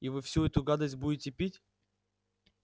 и вы всю эту гадость будете пить